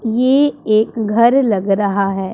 ये एक घर लग रहा है।